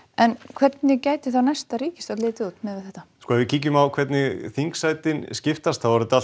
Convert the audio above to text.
hvernig gæti þá næsta stjórn litið út ef við kíkjum á hvernig þingsætin skiptast þá er þetta